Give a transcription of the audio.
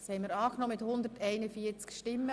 Sie haben das Postulat einstimmig angenommen.